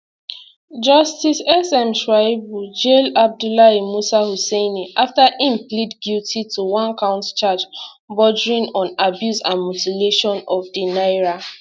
justice sm shuaibu jail abdullahi musa huseini afta im plead guilty to onecount charge bordering on abuse and mutilation of di naira